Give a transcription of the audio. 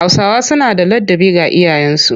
Hausawa suna da ladabi ga iyayensu